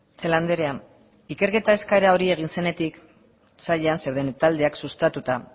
celaá andrea ikerketa eskaera hori egin zenetik sailan zeuden taldeak sustatuta